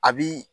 A bi